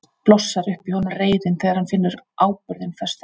Blossar upp í honum reiðin þegar hann finnur áburðinn festast við sig.